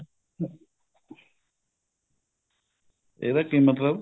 ਇਹਦਾ ਕੀ ਮਤਲਬ